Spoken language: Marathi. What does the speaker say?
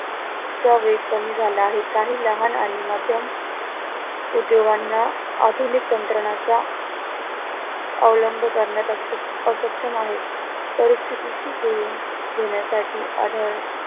चा वेग कमी झाला आहे काही लहान आणि माध्यम उद्योगांना आधुनिक तंत्रज्ञानाचा अवलंब करण्यास असं अक्षम आहे, परिस्थिती शी जुळून घेण्यासाठी आढळ